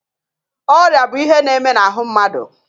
Ọrịa bụ ihe na-eme n'ahụ mmadụ.